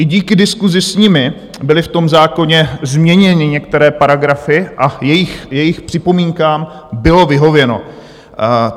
I díky diskusi s nimi byly v tom zákoně změněny některé paragrafy a jejich připomínkám bylo vyhověno.